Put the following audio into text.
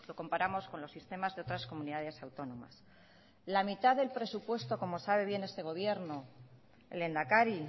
comparamos con los sistemas de otras comunidades autónomas la mitad del presupuesto como sabe bien este gobierno el lehendakari